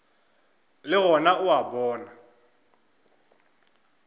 le gona o a bona